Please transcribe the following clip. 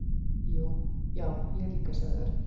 """Já, ég líka sagði Örn."""